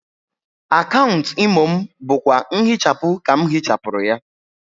Akaunt Imo m bụkwa nhịchapụ ka m hịchapụrụ ya.